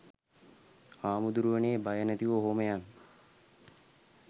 හාමුදුරුවනේ බය නැතිව ඔහොම යන්